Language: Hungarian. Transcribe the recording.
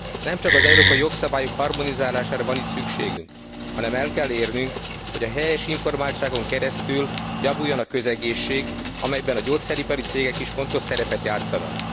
Nem csak az európai jogszabályok harmonizálására van itt szükségünk, hanem el kell érnünk, hogy a helyes informáltságon keresztül javuljon a közegészség, amelyben a gyógyszeripari cégek is fontos szerepet játszanak.